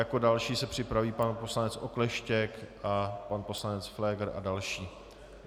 Jako další se připraví pan poslanec Okleštěk a pan poslanec Pfléger a další.